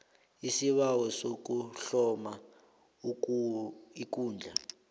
isibawo sokuhloma ikundla